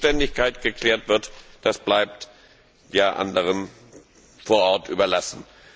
Und wie die Zuständigkeit geklärt wird, bleibt anderen vor Ort überlassen.